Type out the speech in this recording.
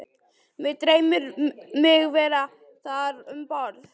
Mig dreymir mig vera þar um borð